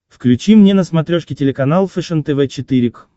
включи мне на смотрешке телеканал фэшен тв четыре к